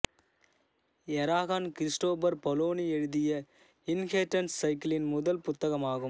Eragon Christopher Paolini எழுதிய Inheritance சைக்கிளின் முதல் புத்தகமாகும்